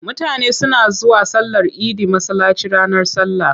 Mutane suna zuwa sallar idi masallaci ranar sallah.